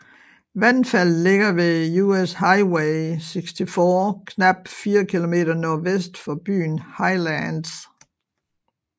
Vandfaldet ligger ved US Highway 64 knap 4 km nordvest for byen Highlands